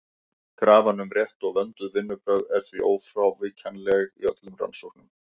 Krafan um rétt og vönduð vinnubrögð er því ófrávíkjanleg í öllum rannsóknum.